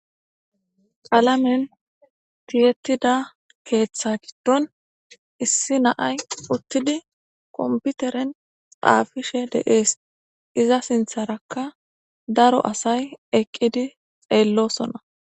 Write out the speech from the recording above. qalamen tiyettida keeththa giddon issi naay uttidi komputeren xaafishe de'ees iza sintharakka daro asay eqqidi xeellosona